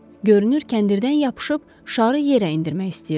Görünür kəndirdən yapışıb şarı yerə endirmək istəyirdi.